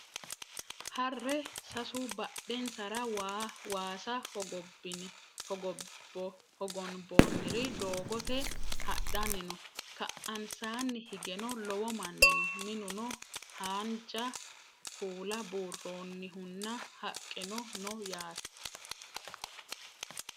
Harre sasu badhenisara waasa hogonboonniri doogote hadhanni no ka'aansaanni higeno lowo manni noo minuno haanja kuula buurronihunna haqqeno no yaate